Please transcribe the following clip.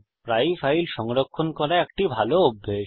প্রায়ই ফাইল সংরক্ষণ করা একটি ভাল অভ্যাস